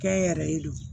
Kɛ n yɛrɛ ye don